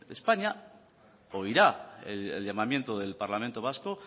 de españa oirá el llamamiento del parlamento vasco